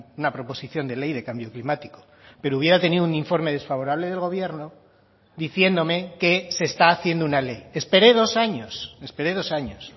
una proposición de ley de cambio climático pero hubiera tenido un informe desfavorable del gobierno diciéndome que se está haciendo una ley esperé dos años esperé dos años